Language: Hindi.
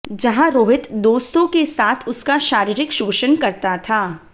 जहाँ रोहित दोस्तों के साथ उसका शारीरिक शोषण करता था